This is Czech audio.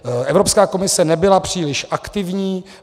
Evropská komise nebyla příliš aktivní.